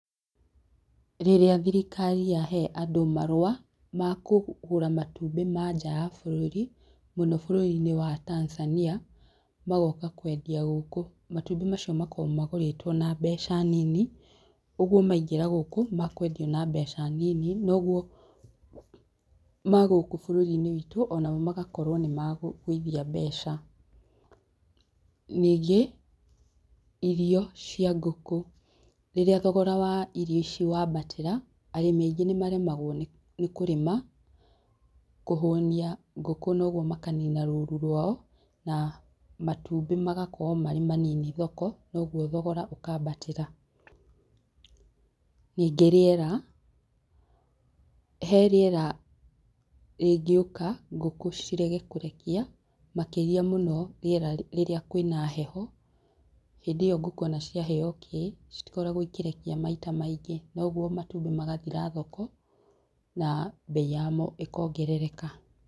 Rĩrĩa thirikari yahe andũ marũa ma kũgũra matumbĩ ma nja ya bũrũri mũno bũrũrinĩ wa Tanzania, magoka kwendia gũkũ matumbĩ macio makoragwo magũrĩtwo na mbeca nini ũguo maingĩra gũkũ makũendio na mbeca nini, noguo ma gũkũ bũrũrinĩ wĩtũ onamo magakorwo nĩmagũithia mbeca. Ningĩ irio cia ngũkũ, rĩrĩa thogora wa irio ici wambatĩra arĩmi aingĩ nĩmaremagwo nĩ kũrĩma kũhũnia ngũkũ, ũguo makanina rũru rwao na matumbĩ magakorwo marĩ manini thoko na ũguo thogora ũkambatĩra. Ningĩ rĩera, hee rĩera rĩngĩũka ngũkũ cirege kũrekia makĩria mũno rĩera rĩrĩa kwĩna heho, hĩndĩ ĩyo ngũkũ ciaheo onakĩ, citikoragwo ikĩrekia maita maingĩ noguo matumbĩ magathira thoko na bei yamo ĩkongerereka.